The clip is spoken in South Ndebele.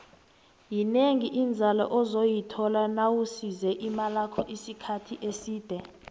yinengi inzalo ozoyithola nawusise imalakho isikhathi eside